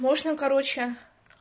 можно короче